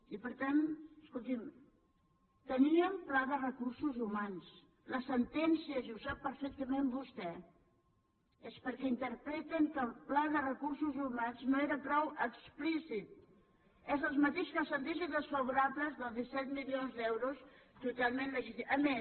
i per tant escolti’m teníem pla de recursos humans les sentències i ho sap perfectament vostè és perquè interpreten que el pla de recursos humans no era prou explícit és el mateix que les sentències desfavorables dels disset milions d’euros totalment legítima